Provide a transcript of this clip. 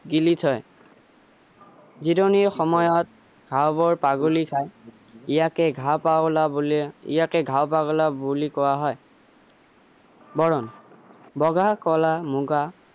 গিলি থয় জিৰণিৰ সময়ত ঘাঁহ বোৰ পাগোলি খাই ইয়াকে ঘাঁহ পাগোলা বুলি ইয়াকে ঘাঁহ পাগোলা বুলি কোৱা হয় বৰণ বগা কলা মুগা